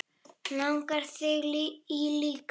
Langar þig í líka?